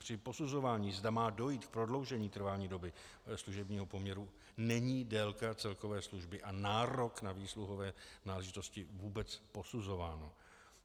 Při posuzování, zda má dojít k prodloužení trvání doby služebního poměru, není délka celkové služby a nárok na výsluhové náležitosti vůbec posuzována.